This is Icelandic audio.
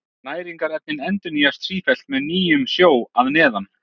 Næringarefnin endurnýjast sífellt með nýjum sjó að neðan.